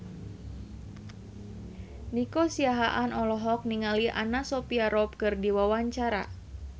Nico Siahaan olohok ningali Anna Sophia Robb keur diwawancara